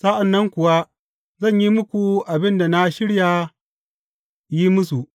Sa’an nan kuwa zan yi muku abin da na shirya yin musu.